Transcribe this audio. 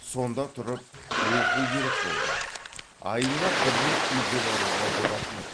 сонда тұрып оқу керек болды айына бір рет үйге баруға болатын еді